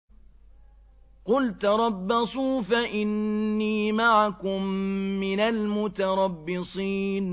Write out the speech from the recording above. قُلْ تَرَبَّصُوا فَإِنِّي مَعَكُم مِّنَ الْمُتَرَبِّصِينَ